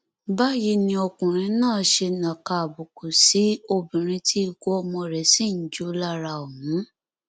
báyìí ni ọkùnrin náà ṣe nàka àbùkù sí obìnrin tí ikú ọmọ rẹ sì ń jó lára ọhún